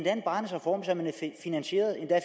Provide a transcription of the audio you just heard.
finansieret endda